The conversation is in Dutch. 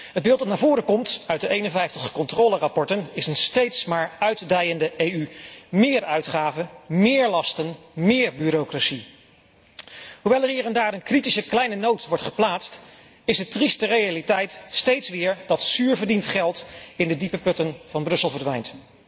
Het beeld dat naar voren komt uit de 51 controlerapporten is een steeds maar uitdijende EU meer uitgaven, meer lasten, meer bureaucratie. Hoewel er hier en daar een kleine kritische noot wordt geplaatst, is de trieste realiteit steeds weer dat zuur verdiend geld in de diepe putten van Brussel verdwijnt.